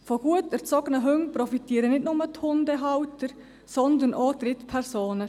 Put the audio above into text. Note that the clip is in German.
Von gut erzogenen Hunden profitieren nicht nur die Hundehalter, sondern auch Drittpersonen: